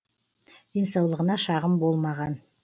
денсаулығына шағым болмаған